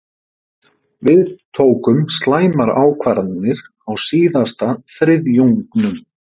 Við tókum slæmar ákvarðanir á síðasta þriðjungnum.